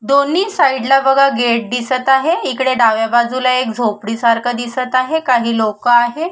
दोन्ही साइडला बघा गेट दिसत आहे इकडे डाव्या साइडला झोपडी सारख दिसत आहे काही लोक आहे.